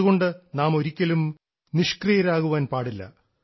അതുകൊണ്ട് നാം ഒരിക്കലും നിഷ്ക്രിയരാകാൻ പാടില്ല